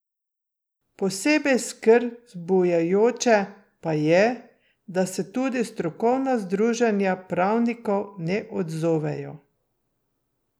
Posebej skrb vzbujajoče pa je, da se tudi strokovna združenja pravnikov ne odzovejo.